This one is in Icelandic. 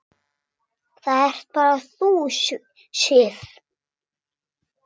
Það ert bara þú, Sif.